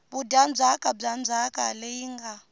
vudyandzhaka bya ndzhaka leyi nga